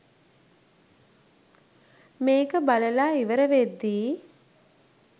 මේක බලලා ඉවර වෙද්දී